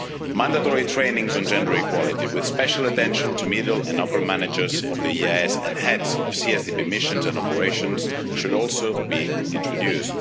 Mandatory training courses on gender equality, with special attention to middle and upper managers of the EEAS and heads of CSDP missions and operations, should also be introduced.